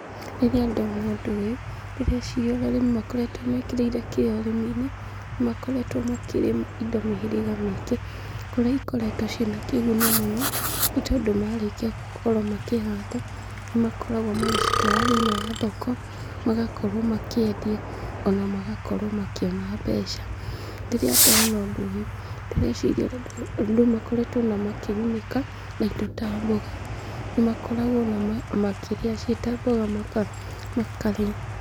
Rĩrĩa ndona ũndũ ũyũ, ndĩreciria ũrĩa arĩmi makoretwo mekĩrĩire kĩyo ũrĩmi-inĩ, nĩ makoretwo makĩrĩma indo mĩhĩrĩga mĩingĩ, kũrĩa ikoretwo ciĩna kĩguni mũno, nĩ tondũ marĩkia gũkorwo makĩhanda, nĩ makoragwo magĩcitwara thĩinĩ wa thoko, magakorwo makĩendia ona magakorwo makĩona mbeca. Rĩrĩa ndona ũndũ ũyũ, ndĩreciria ũrĩa andũ makoretwo ona makĩgunĩka na indo ta mboga, nĩ makoragwo ona makĩrĩa ciĩta mboga maka makarĩa.